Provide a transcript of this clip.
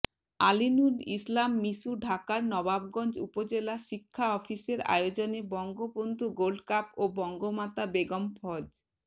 আলীনূর ইসলাম মিশু ঢাকার নবাবগঞ্জ উপজেলা শিক্ষা অফিসের আয়োজনে বঙ্গবন্ধু গোল্ডকাপ ও বঙ্গমাতা বেগম ফজ